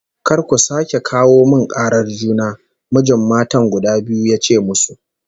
"Kar ku sake kawo min karar juna!" Mijin matan guda biyu ya ce musu